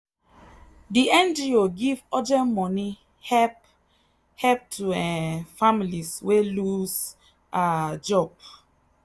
the ngo give urgent money help help to um families wey lose um job.